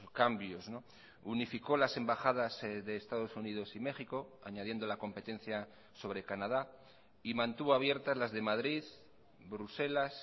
cambios unificó las embajadas de estados unidos y méxico añadiendo la competencia sobre canadá y mantuvo abiertas las de madrid bruselas